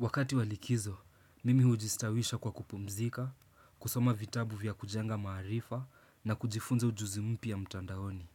Wakati wa likizo, mimi hujistawisha kwa kupumzika, kusoma vitabu vya kujenga maarifa na kujifunza ujuzi mpya mtandaoni.